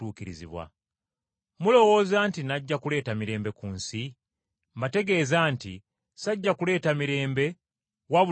Mulowooza nti najja kuleeta mirembe ku nsi? Mbategeeza nti sajja kuleeta mirembe wabula okwawukana.